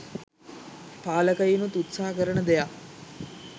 පාලකයිනුත් උත්සාහ කරන දෙයක්